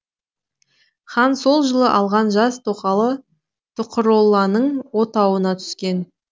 хан сол жылы алған жас тоқалы тұқыролланың отауына түскен